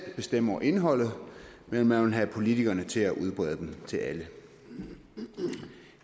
bestemme over indholdet men man vil have politikerne til at udbrede dem til alle